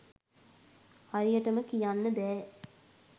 හරියටම කියන්න බෑ